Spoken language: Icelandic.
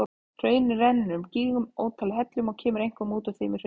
Hraunið rennur úr gígnum í ótal hellum og kemur einkum út úr þeim í hraunbrúninni.